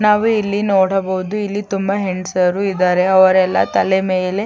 ನಾವಿಲ್ಲಿ ನೋಡಬಹುದು ಇಲ್ಲಿ ತುಂಬಾ ಹೆಣ್ಣ್ ಸರು ಇದಾರೆ ಅವ್ರೆಲ್ಲಾ ತಲೆ ಮೇಲೆ --